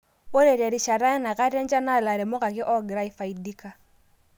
Ore terishata enakata enchan naa ilairemok ake oogira aifaidika.